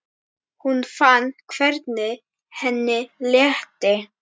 Hún fann hvernig henni létti.